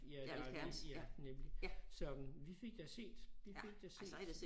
Ja eller ja nemlig så vi fik da set vi fik da set